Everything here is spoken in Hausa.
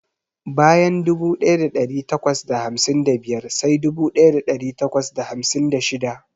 Bayan dubu daya dari takwas da hamsin da biyar sai dubu daya dari takwas da hamsin da shida.